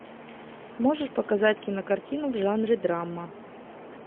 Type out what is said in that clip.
можешь показать кинокартину в жанре драма